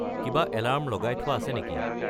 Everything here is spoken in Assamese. কিবা এলাৰ্ম লগাই থোৱা আছে নেকি